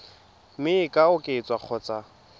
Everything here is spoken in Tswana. mme e ka oketswa kgotsa